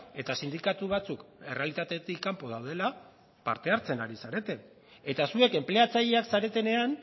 eta sindikatu batzuk errealitatetik kanpo daudela parte hartzen ari zarete eta zuek enpleatzaileak zaretenean